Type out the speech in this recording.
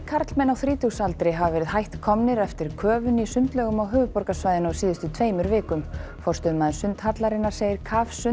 karlmenn á þrítugsaldri hafa verið hætt komnir eftir köfun í sundlaugum á höfuðborgarsvæðinu á síðustu tveimur vikum forstöðumaður sundhallarinnar segir